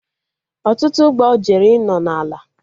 Ọtụtụ ụgbọ jere ịnọ na ala